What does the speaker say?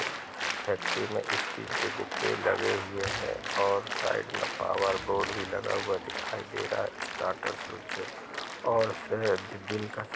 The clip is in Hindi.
फैक्ट्री मे स्टील के डिब्बे लगे हुए हैं और साइड मे पावर बोर्ड भी लगा हुआ दिखाई दे रहा हैं स्टार्टर स्विच हैं और स दिन का समय--